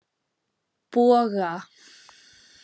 Boga